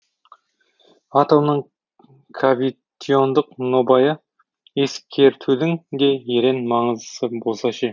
атомның кавитиондық нобайы ескертудің де ерен маңыздысы болса ше